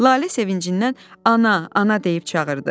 Lalə sevincindən ana, ana deyib çağırdı.